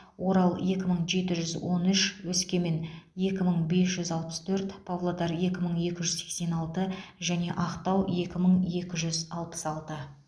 орал екі мың жеті жүз он үш өскемен екі мың бес жүз алпыс төрт павлодар екі мың екі жүз сексен алты және ақтау екі мың екі жүз алпыс алты